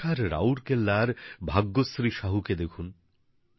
ওড়িষার রাউরকেল্লার ভাগ্যশ্রী সাহু কে দেখুন